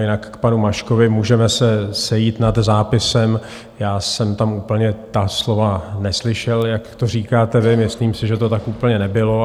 Jinak k panu Maškovi, můžeme se sejít nad zápisem, já jsem tam úplně ta slova neslyšel, jak to říkáte vy, myslím si, že to tak úplně nebylo.